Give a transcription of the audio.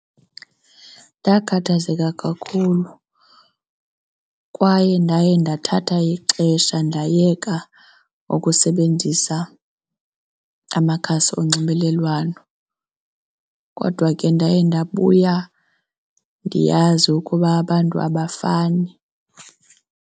Ndakhathazeka kakhulu kwaye ndaye ndathatha ixesha ndayeka ukusebenzisa amakhasi onxibelelwano. Kodwa ke ndaye ndabuya ndiyazi ukuba abantu abafani.